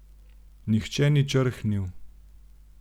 Nihče ni črhnil.